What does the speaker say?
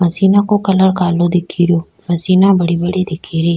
Machine को colour कालो दिख रियो मशीना बड़ी बड़ी दिख री।